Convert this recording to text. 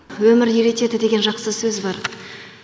өмір үйретеді деген жақсы сөз бар